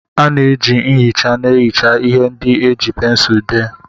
A na-eji nchicha na-ehicha ihe ndị e ji pensụl dee.